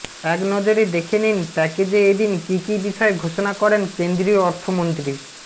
একনজরে দেখে নিন প্যাকেজে এদিন কী কী বিষয় ঘোষণা করেন কেন্দ্রীয় অর্থমন্ত্রী